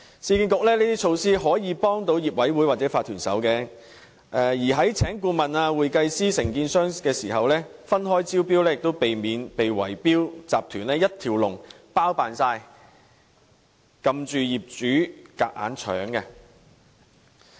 市建局這些措施可以幫助業委會或法團，在聘請顧問、會計師及承建商時，分開招標可避免被圍標集團"一條龍"包辦所有服務，令業主被迫就範。